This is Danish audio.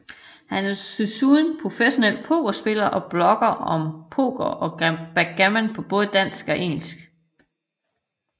Han er desuden professionel pokerspiller og blogger om poker og backgammon på både dansk og engelsk